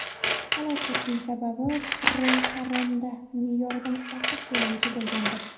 Halokatning sababi paromda me’yoridan ortiq yo‘lovchi bo‘lganidir.